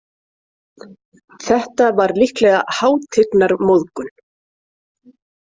Þetta var líklega hátignarmóðgun.